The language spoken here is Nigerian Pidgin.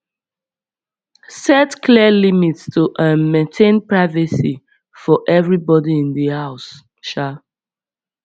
set clear limits to um maintain privacy for everybody in the house um